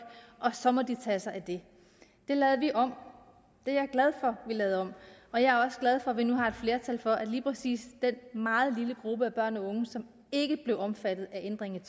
og så må de tage sig af det det lavede vi om og jeg glad for vi lavede om og jeg er også glad for vi nu har et flertal for at lige præcis den meget lille gruppe af børn og unge som ikke blev omfattet af ændringen